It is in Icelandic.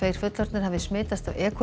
fullorðnir hafi smitast af e